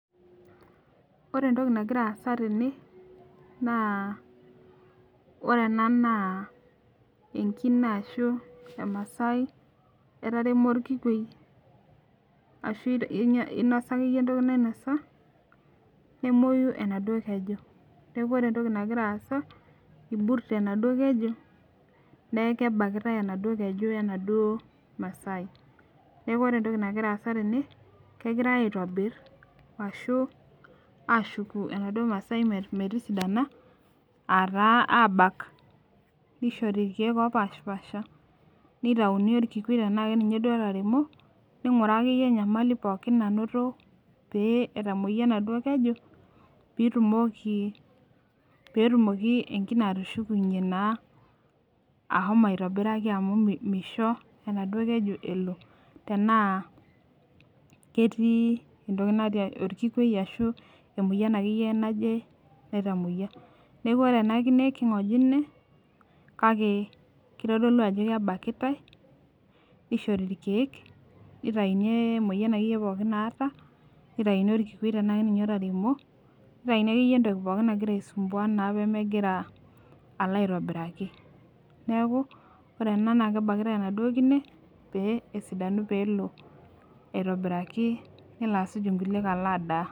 Ore entoki nagira aasa tene naa ore ena naa enkine ashu emasai etaremo orkikwei ashu einyia inosa akeyie entoki nainosa nemoi enaduo keju neku ore entoki nagira aasa iburte enaduo keju neeki kebakitae enaduo keju enaduo masai neku ore entoki nagira aasa tene kegirae aitobirr ashu ashuku enaduo masai metisidana ataa abak nishori irkeek opashipasha nitauni orkikwei tena keninye duo otaremo ning'uraa akeyie enyamali pookin nanoto pee etamoyia enaduo keju piitumoki petumoki enkine atushukunyie naa ahomo aitobiraki amu misho enaduo keju elo tenaa ketii entoki natii orkikwei ashu entoki natii ashu emoyian akeyie naje naitamoyia neku ore ena kine king'ojine kake kitodolu ajo kebakitae nishori irkeek nitaini emoyian akeyie naata nitaini orkikwei tenaa keninye otaremo nitaini akeyie entoki pookin nagira naa aisumbua pemegira alo aitobiraki neeku ore ena naa kebakitae enaduo kine pee esidanu peelo aitobiraki nelo asuj inkuliek alo adaa.